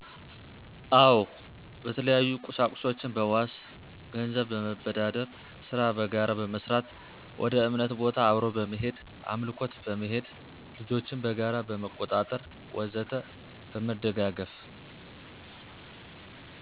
አወ በተለያዩቁሳቁሶችን በዎስ፣ ገነዘብ በመበዳደር፣ ሰራ በጋራ በመስራት፣ ወደእምነት ቦታ አብሮ በመሄድ አምልኮት በመሄድ፣ ልጆችን በጋራ በመቆጣጠር ወዘተ በመደጋገፍ።